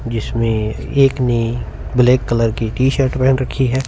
जिसमे एक ने ब्लैक कलर की टीशर्ट पहन रखी है।